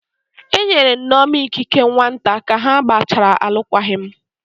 Enyere Nneoma ikike nwata ka ha gbachara alụkwaghịm